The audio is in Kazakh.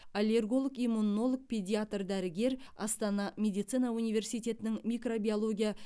аллерголог иммунолог педиатр дәрігер астана медицина университетінің микробиология